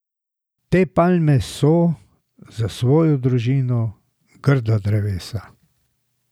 Te palme so, za svojo družino, grda drevesa.